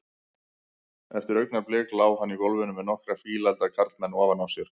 Eftir augnablik lá hann í gólfinu með nokkra fíleflda karlmenn ofan á sér.